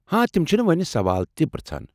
ہاں تم چھنہٕ وو٘نۍ سوال تہِ پرٛژھان۔